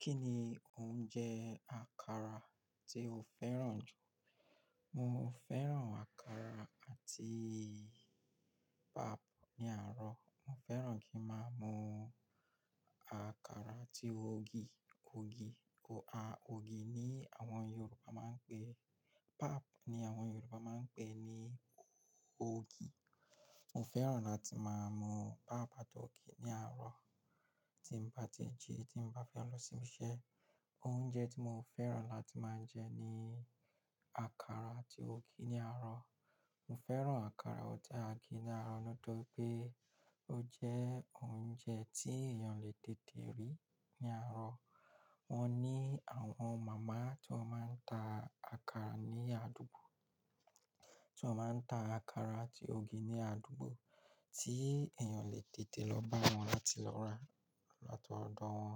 Kí ni oúnjẹ àkàrà tí o fẹ́ràn jù? Mo fẹ́ràn àkàrà àti pap ní àárọ̀. Mo fẹ́ràn kí máa mu àkàrà àti ogi. Ogì, o a, ògò ni àwọn Yòrùbá máa ń pè, pap ni àwọn Yorùbá máa ń pè ní ogi. Mo fẹ́ràn láti máa mu pap àti ọ̀gì ni àárọ̀. Tí mo bá ti jẹ, tí mo bá fẹ́ lọ ṣíbiṣe. Oúnjẹ tí mo fẹ́ràn láti máa ń jẹ ni àkàrà àti ogi ní àárọ̀. Mo fẹ́ràn àkàrà ati ògì ní àárọ̀, nítorí pé ó jẹ́ oúnjẹ tí èèyàn lè dede rí ní àárọ̀. Wọ́n ní àwọn màmá tí wọ́n máa ń ta àkàrà ní àdúgbò, tí wọ́n máa ń ta àkàrà àti ogi ní àdúgbò tí èèyàn lè tètè lọ bá wọn láti lọ rà láti odo wọn.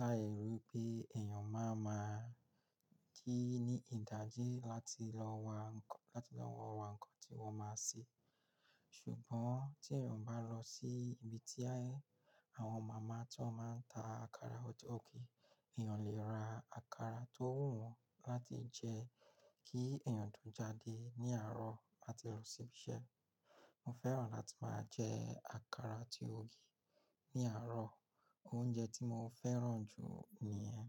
Láì rí pé èèyàn máa ma jí ní ìdájí láti lọ wa nkọ, láti lọ wo ra nǹkan tí wọ́n máa ń ṣe. Ṣùgbọ́n tí èèyàn bá lọ sí ibi tí àwọn màmá tí wọ́n máa ń ta àkàrà ati ògì, èèyàn lè ra àkàrà tó wù wọ́n láti jẹ kí èèyàn tó jáde ní àárọ̀ lati lọ ṣi ibi ise Mo fẹ́ràn láti máa jẹ àkàrà àti ogi ní àárọ̀. Oúnjẹ tí mo fẹ́ràn jù ni yen.